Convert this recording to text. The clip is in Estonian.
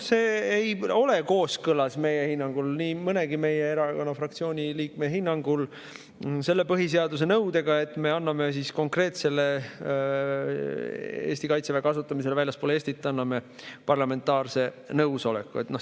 See ei ole meie hinnangul, nii mõnegi meie erakonna fraktsiooni liikme hinnangul kooskõlas põhiseaduse nõudega, et me anname konkreetsele Eesti Kaitseväe kasutamisele väljaspool Eestit parlamentaarse nõusoleku.